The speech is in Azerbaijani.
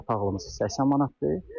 İki otaqlımız 80 manatdır.